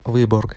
выборг